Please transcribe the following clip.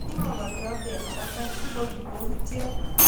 ki mokoriot eng patai koek kipokityot